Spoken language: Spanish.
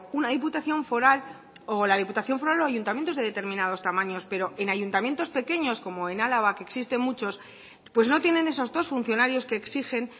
la diputación foral o ayuntamientos de determinados tamaños pero en ayuntamientos pequeños como en araba que existen muchos pues no tienen esos dos funcionarios que exigen